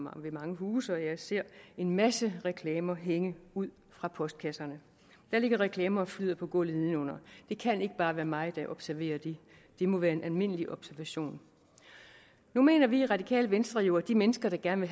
og ved mange huse og jeg ser en masse reklamer hænge ud af postkasserne og der ligger reklamer og flyder på gulvet nedenunder det kan ikke bare være mig der observerer det det må være en almindelig observation nu mener vi i det radikale venstre jo at de mennesker der gerne